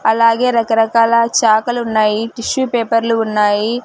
అలాగే రకరకాల చాఖలున్నాయి టిష్యూ పేపర్లు ఉన్నాయి .